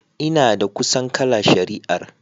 Ina da kusan kala shari'ar.